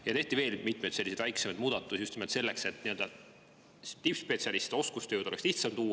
Ja tehti veel mitmeid väiksemaid muudatusi just nimelt selleks, et tippspetsialiste, oskustöö oleks lihtsam tuua.